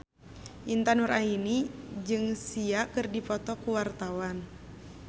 Intan Nuraini jeung Sia keur dipoto ku wartawan